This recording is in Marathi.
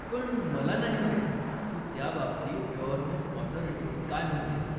पण, मला नाही माहित की त्याबाबतीत गव्हर्नमेंट अॅथॉरिटीज काय म्हणतील.